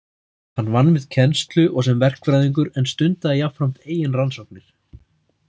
Hann vann við kennslu og sem verkfræðingur en stundaði jafnframt eigin rannsóknir.